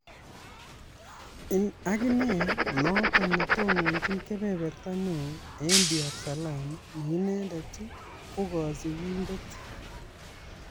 Aginee nnoton netononchin kebeberta neo en Dar es salaam ne inendet kokosibindet��.